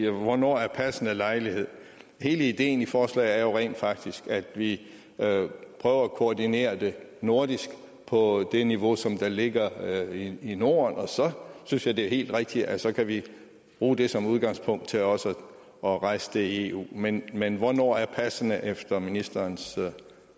hvornår er passende lejlighed hele ideen i forslaget er jo rent faktisk at vi prøver at koordinere det nordisk på det niveau som der ligger i norden så synes jeg det er helt rigtigt at så kan vi bruge det som udgangspunkt til også at rejse det i eu men men hvornår er passende efter ministerens